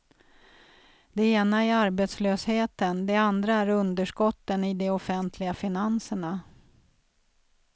Det ena är arbetslösheten, det andra är underskotten i de offentliga finanserna.